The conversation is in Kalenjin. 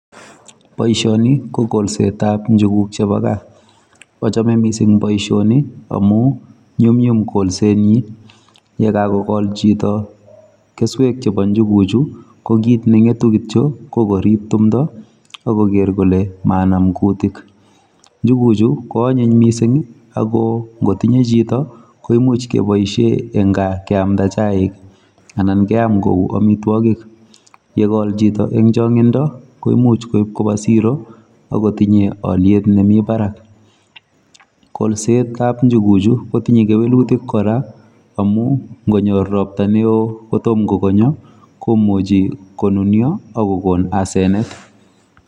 Boishoni ko kolsetap njuguk chepo gaa. Achome mising boishoni amu nyumnyum kolsenyi. yekakokol chito keswek chepo njuguchu ko kit neng'etu kityo ko korip tumdo akoker kole manam kutik. Njuguchu ko onyiny mising ako ngotinye chito ko imuch keboishe eng gaa keamda chaik anan keam ku amitwokik. yekol chito eng chong'indo koimuch koip kopa siro akotinye alyet nemi barak. Kolsetap njuguchu kotinye kewelutik kora amu ngonyor ropta neo kotom kokonyo komuchi konunyo akokon asenet.